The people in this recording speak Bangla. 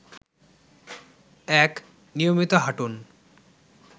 ১. নিয়মিত হাঁটুন